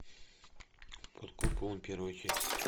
под куполом первая часть